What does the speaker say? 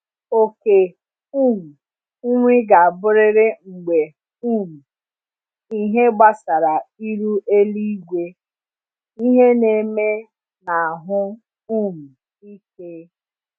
okề um nri ga aburịrị mgbe um ịhe gbasara iru eluigwe, ịhe n’eme na ahụ um ike